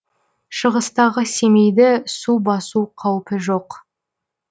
шығыстағы семейді су басу қаупі жоқ